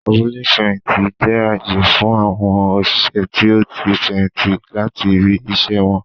Abúlé ifẹhinti jẹ ààyè fún awọn oṣiṣẹ tí o tí fẹyìntì láti ibì iṣẹ wọn